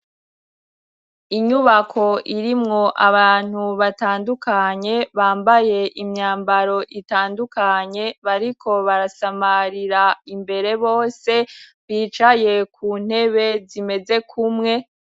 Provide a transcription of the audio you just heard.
Inyubako irimwo abantu batandukanye, bambaye imyambaro itandukanye, bariko barasamarira imbere bose bicaye ku ntebe zimeze kumwe.